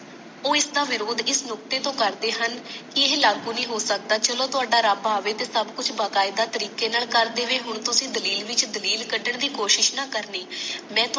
ਉਹ ਇਸਦਾ ਵਿਰੋਧ ਇਸ ਨੁਕਤੇ ਤੋਂ ਕਰਦੇ ਹਨ ਕਿ ਇਹ ਲਾਗੂ ਨਹੀਂ ਹੋ ਸਕਦਾ ਚਲੋ ਥੋੜਾ ਰੱਬ ਆਵੇ ਤੇ ਸਬ ਕੁਛ ਵਕਾਏਦਾ ਤਰੀਕੇ ਨਾਲ ਕਰ ਦੇਵੇ ਹੁਣ ਤੁਸੀ ਦਲੀਲ ਵਿੱਚ ਦਲੀਲ ਕਢਣ ਦੀ ਕੋਸ਼ਿਸ਼ ਨਾ ਕਰਨੀ ਮੈਂ ਤੁਹਾਨੂੰ